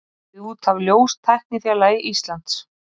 Gefið út af ljóstæknifélagi Íslands.